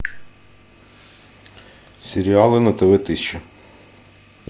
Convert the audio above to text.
сериалы на тв тысяча